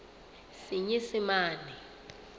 senyesemane